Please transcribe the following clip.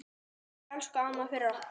Takk, elsku amma, fyrir okkur.